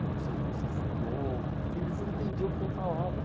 Como se eu fosse, assim, louco, porque eles não entendiam o que eu falava.